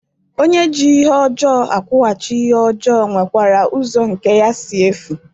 Onye ji ihe ojoo akwughachi ihe ojoo nwekwara uzo nke ya si efu.